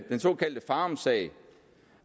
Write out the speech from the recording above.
såkaldte farumsag